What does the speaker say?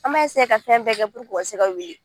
An b'a ka fɛn bɛɛ kɛ u ka se ka wuli